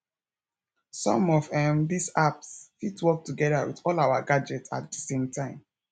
some of um these apps fit work together with all our gadgets at di same time